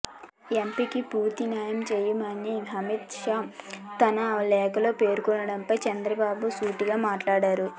ఎపికి పూర్తి న్యాయం చేశామని అమిత్ షా తన లేఖలో పేర్కొనడంపై చంద్రబాబు ఘాటుగా మాట్లాడారు